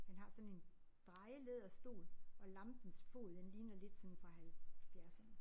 Han har sådan en drejelæderstol og lampens fod den ligner lidt sådan fra halvfjerdserne